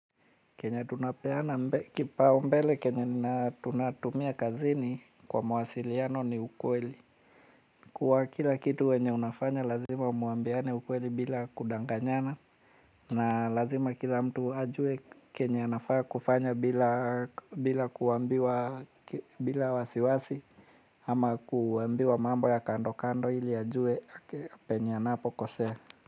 Kenye tunapeana kipaumbele kenye nina tunatumia kazini kwa mawasiliano ni ukweli. Kuwa kila kitu wenye unafanya lazima muambiane ukweli bila kudanganyana. Na lazima kila mtu ajue kenye anafaa kufanya bila kuambiwa bila wasiwasi. Ama kuambiwa mambo ya kando kando ili ajue penye anapokosea.